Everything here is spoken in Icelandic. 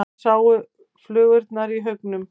Þar sátu flugurnar í haugum.